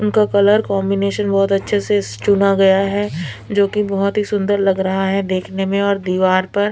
उनका colour combination बहुत अच्छे से चुना गया है जो कि बहुत ही सुंदर लग रहा है देखने में और दीवार पर--